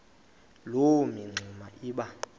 loo mingxuma iba